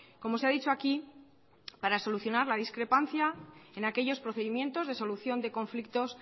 como se ha dicho aquí para solucionar la discrepancia en aquellos procedimientos de solución de conflictos